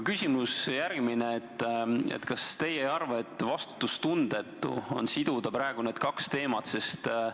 Küsimus on aga järgmine: kas teie ei arva, et vastutustundetu on siduda praegu need kaks teemat?